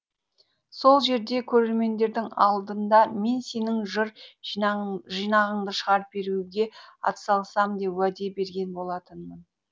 сол жерде көрермендердің алдында мен сенің жыр жинағыңды шығарып беруге атсалысамын деп уәде берген болатынмын